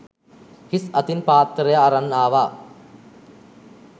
හිස් අතින් පාත්තරය අරන් ආවා.